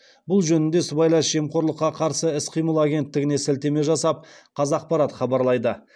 бұл жөнінде сыбайлас жемқорлыққа қарсы іс қимыл агенттігіне сілтеме жасап қазақпарат хабарлайды